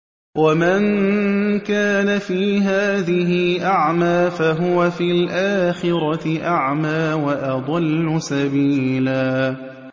وَمَن كَانَ فِي هَٰذِهِ أَعْمَىٰ فَهُوَ فِي الْآخِرَةِ أَعْمَىٰ وَأَضَلُّ سَبِيلًا